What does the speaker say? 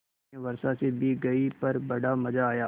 मैं वर्षा से भीग गई पर बड़ा मज़ा आया